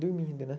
Dormindo, né?